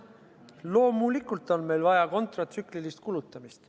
Loomulikult on meil vaja kontratsüklilist kulutamist.